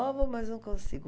Provo, mas não consigo.